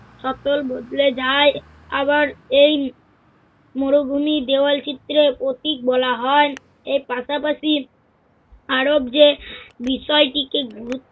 সকল বদলে যায়। আবার, এই মরুভূমির দেওয়ালচিত্রে অতিত বলা হয়। এর পাশাপাশি আরো যে বিষয়টিকে গুরুত~